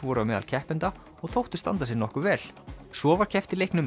voru á meðal keppenda og þóttu standa sig nokkuð vel svo var keppt í leiknum